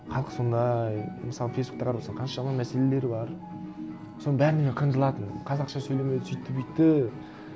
халық сондай мысалы фейсбукті қарап отырсаң қаншама мәселелер бар соның бәріне мен қынжылатынмын қазақша сөйлемеді сөйтті бүйтті